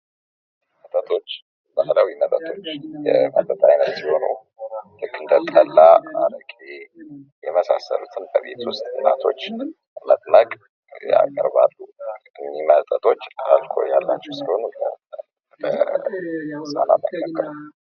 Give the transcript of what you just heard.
መጠጦች ባህላዊ መጠጦች የመጠጥ አይነት ሲሆኑ ልክ እንደ ጠላ አረቄ የመሳሰሉት በቤት ዉስጥ እናቶች በመጥመቅ ያቀርባሉ። እነዚህ መጠጦች አልኮል ያለበት ስለሆነ ለህፃናት አይመከርም።